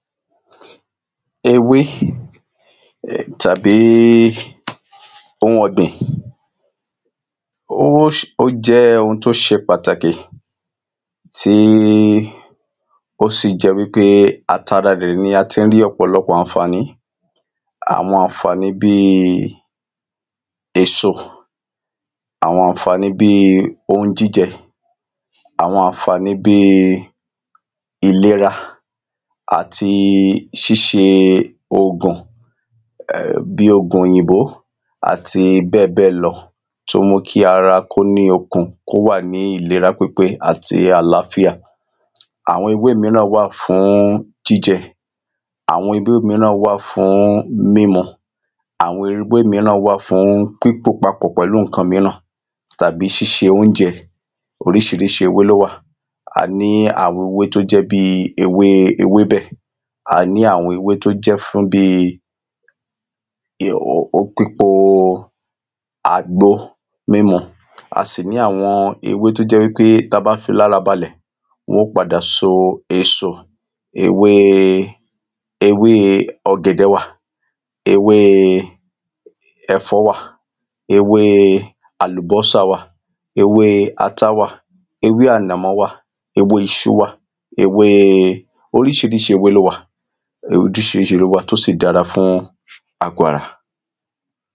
ewé tàbí oun ọ̀gbìn ó jẹ́ oun tó ṣe pàtàkì, tí ó sì jẹ̀ wípé àti ara rẹ̀ la tí ń rí ọ̀pọ̀lọpọ̀ àǹfàní àwọn àǹfàní bíi èso, àwọn àǹfàní bíi ohun jíjẹ, àwọn àǹfàní bíi ìlera àti ṣíṣe ògùn bíi ògùn òyìnbó àti bẹ́ẹ̀ bẹ́ẹ̀ lọ, tó ń mú kí ara kó ní okun, kó wà ní ìlera pípé àti àláfíà àwọn ewé míràn wà fún jíjẹ, àwọn ewé míràn wà fún mímu, àwọn ewé míràn wà fún pípò papọ̀ pẹ̀lú ǹkan míran tàbí ṣíṣe óúnjẹ oríṣiríṣi ewé ló wà, a ní àwọn ewé to jẹ́ bíi ewébẹ̀, a ní àwọn ewé tó jẹ́ fún bíi pípo àgbo mímu, a sì ní àwọn ewé to jẹ́ wípé tí a bá fií lára balẹ̀ wọ́n o padà so èso. ewé ọ̀gẹ̀dẹ̀ wà, ewé ẹ̀fọ́ wà, ewé àlùbọ́sà wà, ewé ata wà, ewé ànàmọ́ wà, ewe iṣu wa, oríṣiríṣi ewé ló wà, oríṣiríṣi ewé ló wà, tó sì dára fún àgo ara